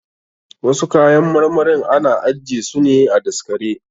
Wasu kayan marmarin ana ajje su ne a daskare.